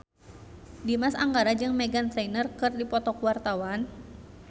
Dimas Anggara jeung Meghan Trainor keur dipoto ku wartawan